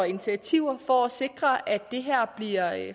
initiativer for at sikre at det her bliver